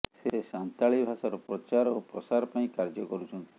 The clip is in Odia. ସେ ସାନ୍ତାଳୀ ଭାଷାର ପ୍ରଚାର ଓ ପ୍ରସାର ପାଇଁ କାର୍ଯ୍ୟ କରୁଛନ୍ତି